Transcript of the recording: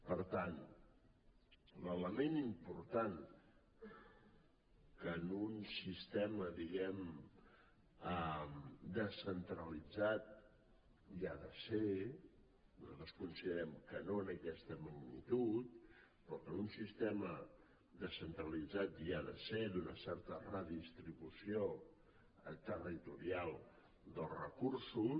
per tant l’element important que en un sistema diguem ne descentralitzat hi ha de ser nosaltres considerem que no en aquesta magnitud però que en un sistema descentralitzat hi ha de ser és una certa redistribució territorial dels recursos